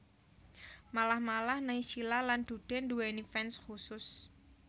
Malah malah Naysila lan Dude nduwèni fans khusus